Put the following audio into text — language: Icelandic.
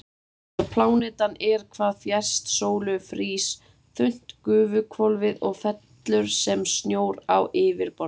Þegar plánetan er hvað fjærst sólu frýs þunnt gufuhvolfið og fellur sem snjór á yfirborðið.